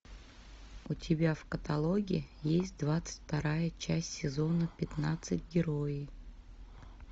у тебя в каталоге есть двадцать вторая часть сезона пятнадцать герои